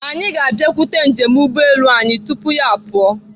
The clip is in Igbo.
Anyị ga-abịakwute njem ụgbọelu anyị tupu ya apụọ.